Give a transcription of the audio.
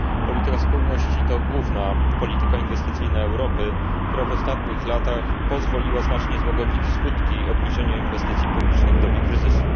Polityka spójności to główna polityka inwestycyjna Europy, która w ostatnich latach pozwoliła znacznie złagodzić skutki obniżenia inwestycji publicznych w dobie kryzysu.